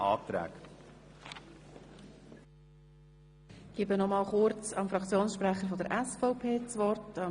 Ich gebe noch einmal kurz dem Fraktionssprecher der SVP das Wort.